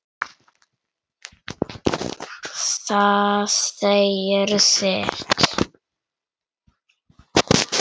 Það segir sitt.